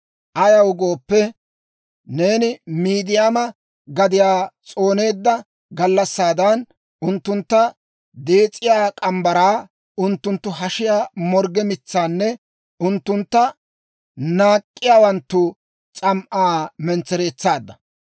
Ayaw gooppe, neeni Midiyaama gadiyaa s'ooneedda gallassaadan, unttuntta dees'iyaa morgge mitsaa, unttunttu hashiyaa morgge mitsaanne unttuntta naak'k'iyaawanttu s'am"aa mentsereetsaadda.